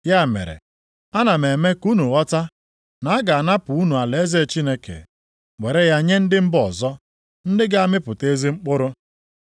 “Ya mere, ana m eme ka unu ghọta, na a ga-anapụ unu alaeze Chineke, were ya nye ndị mba ọzọ, ndị ga-amịpụta ezi mkpụrụ.